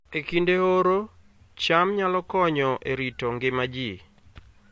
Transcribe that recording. E kinde oro, cham nyalo konyo e rito ngima ji